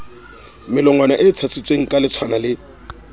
melongwana e tshasitsweng kaletshwana le